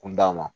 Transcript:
Kun d'a ma